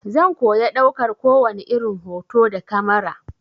Zan koya ɗaukar kowani irin hoto da kamara.